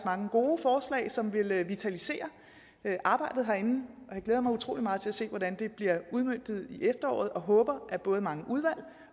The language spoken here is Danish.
mange gode forslag som vil vitalisere arbejdet herinde og jeg glæder mig utrolig meget til at se hvordan det bliver udmøntet i efteråret og jeg håber at både mange udvalg